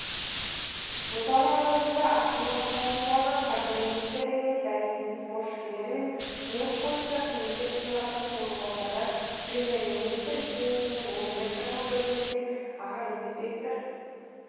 жылдары аралығында астана қаласындағы қаржы министрлігінде дәрменсіз борышкерлермен жұмыс бойынша комитет төрағасының орынбасары премьер-министрі кеңсесінің өңірлік даму бөлімінде аға инспектор